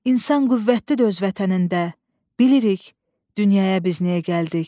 İnsan qüvvətlidir öz vətənində, bilirik, dünyaya biz niyə gəldik.